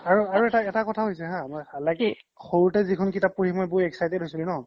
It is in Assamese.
আৰু আৰু এটা কথা হৈছে হা লা কি সৰুতে যিখন কিতাপ পঢ়ি মই বহুত excited হৈছিলোঁ ন